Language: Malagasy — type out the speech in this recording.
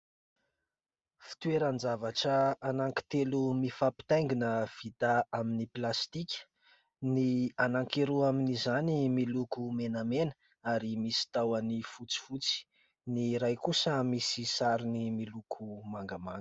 Fitoeran-javatra anankitelo mifampitaingina vita amin'ny plastika. Ny anankiroa amin'izany miloko menamena ary misy tahony fotsifotsy. Ny iray kosa misy sarony miloko mangamanga.